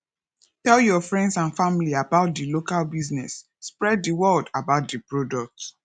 tell your friends and family about di local business spread di word about di product